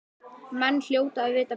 Menn hljóta að vita betur.